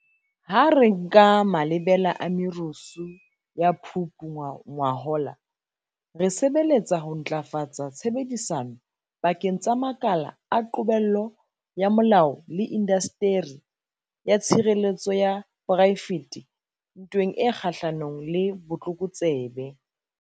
Ha re nka malebela a merusu ya Phupu ngwahola, re sebeletsa ho ntlafatsa tshebedisano pakeng tsa makala a qobello ya molao le indasteri ya tshireletso ya poraefete ntweng e kgahlanong le botlokotsebe.